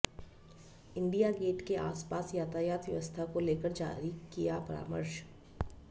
India gate के आसपास यातायात व्यवस्था को लेकर जारी किया परामर्श